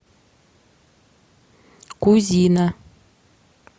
кузина